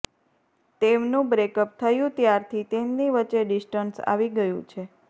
તેમનું બ્રેકઅપ થયુ ત્યારથી તેમની વચ્ચે ડિસ્ટન્સ આવી ગયુ છે